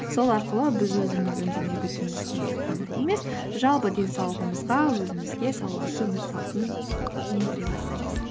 сол арқылы біз өзіміздің дене бітімімізге ғана емес жалпы денсаулығымызға өзімізге салауатты өмір салтын ендіре бастаймыз